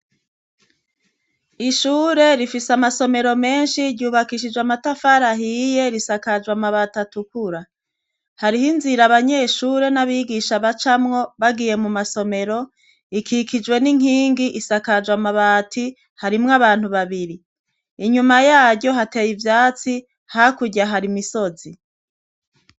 Ishure rifise amasomero menshi ryubakishijwe amatafari ahiye risakajwe amabati atukura, hariho inzira abanyeshure n'abigisha bacamwo bagiye mu masomero ikikijwe n'inkingi isakajwe amabati, harimwo abantu babiri inyuma yaryo hateye ivyatsi hakurya hari imisozi.